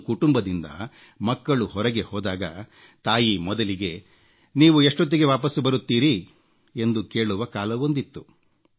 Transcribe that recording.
ಒಂದು ಕುಟುಂಬದಿಂದ ಮಕ್ಕಳು ಹೊರಗೆ ಹೋದಾಗ ತಾಯಿ ಮೊದಲಿಗೆ ನೀವು ಎಷ್ಟೊತ್ತಿಗೆ ವಾಪಸ್ಸು ಬರುತ್ತೀರಿ ಎಂದು ಕೇಳುವ ಕಾಲವೊಂದಿತ್ತು